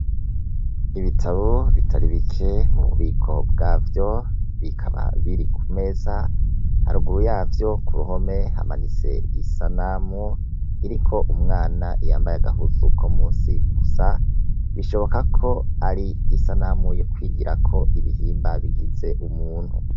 Ibitabo bitari bike mu bubiko bwavyo, bikaba biri ku meza, haruguru yavyo ku ruhome hamanitse isanamu, iriko umwana yambaye agahuzu ko munsi gusa, bishoboka ko ari isanamu yo kwigirako ibihimba bigize umuntu.